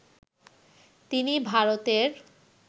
তিনি ভারতের